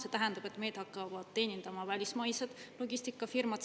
See tähendab, et meid hakkavad teenindama välismaised logistikafirmad.